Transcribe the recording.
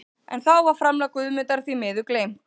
En þá var framlag Guðmundar því miður gleymt.